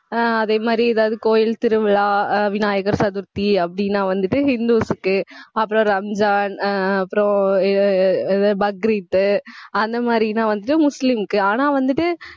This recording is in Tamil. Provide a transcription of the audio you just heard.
ஆஹ் அதே மாதிரி ஏதாவது கோயில் திருவிழா அஹ் விநாயகர் சதுர்த்தி அப்படீன்னா வந்துட்டு ஹிந்துஸுக்கு அப்புறம் ரம்ஜான் ஆஹ் அப்புறம் இ~ இ~ பக்ரீத் அந்த மாதிரிதான் வந்து முஸ்லிம்க்கு, ஆனா வந்துட்டு